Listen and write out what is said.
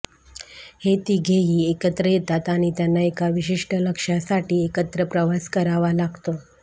हे तिघेही एकत्र येतात आणि त्यांना एका विशिष्ठ लक्ष्यासाठी एकत्र प्रवास करावा लागतो